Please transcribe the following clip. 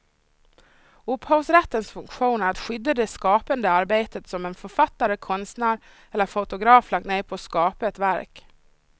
Upphovsrättens funktion är att skydda det skapande arbete som en författare, konstnär eller fotograf lagt ned på att skapa ett verk.